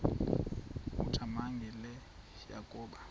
ujamangi le yakoba